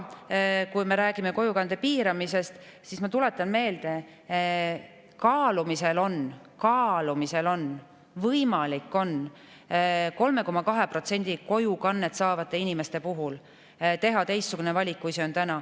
Kui me räägime kojukande piiramisest, siis ma tuletan meelde, et kaalumisel on – kaalumisel on, võimalik on – teha 3,2% kojukannet saavate inimeste puhul teistsugune valik, kui on tehtud.